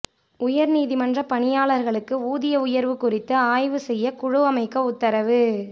உயர்நீதிமன்ற பணியாளர்களுக்கு ஊதிய உயர்வு குறித்து ஆய்வுசெய்ய குழு அமைக்க உத்தரவு